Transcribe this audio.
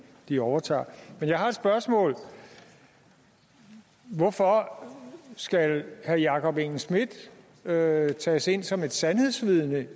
de overtager men jeg har et spørgsmål hvorfor skal herre jakob engel schmidt tages ind som et sandhedsvidne